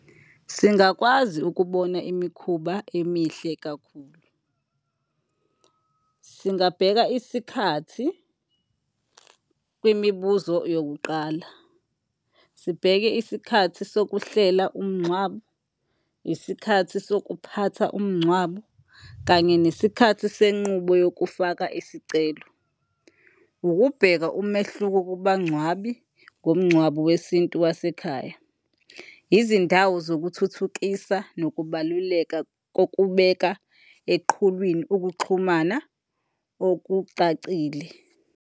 Singakwazi ukubona imikhuba emihle kakhulu. Singabheka isikhathi kwimibuzo yokuqala. Sibheke isikhathi sokuhlela umngcwabo, isikhathi sokuphatha umngcwabo, kanye nesikhathi senqubo yokufaka isicelo. Ukubheka umehluko kubangcwabi ngomngcwabo wesintu wasekhaya. Izindawo zokuthuthukisa nokubaluleka kokubeka eqhulwini ukuxhumana okucacile.